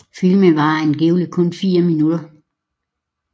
Filmen varer angiveligt kun 4 minutter